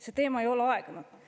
See teema ei ole aegunud.